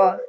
og